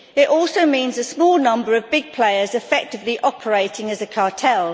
It also means a small number of big players effectively operating as a cartel.